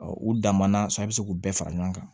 u dan ma na sɔn a bɛ se k'u bɛɛ fara ɲɔgɔn kan